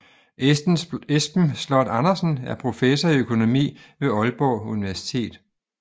Esben Sloth Andersen er professor i økonomi ved Aalborg Universitet